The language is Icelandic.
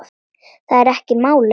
Það er ekki málið.